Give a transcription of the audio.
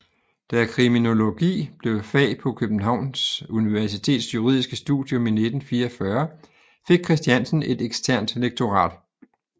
Da kriminologi blev et fag på København Universitets juridiske studium i 1944 fik Christiansen et eksternt lektorat